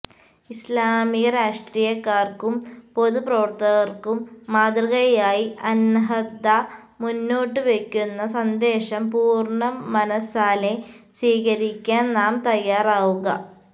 ഇസ്ലാമിക രാഷ്ട്രീയക്കാര്ക്കും പൊതു പ്രവര്ത്തകര്ക്കും മാതൃകയായി അന്നഹ്ദ മുന്നോട്ടു വെക്കുന്ന സന്ദേശം പൂര്ണ മനസ്സാലെ സ്വീകരിക്കാന് നാം തയാറാവുക